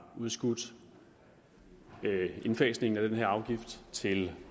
udskudt indfasningen af den her afgift til